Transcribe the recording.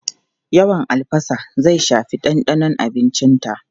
Yawan albasa zai shafi dandanon abincinta.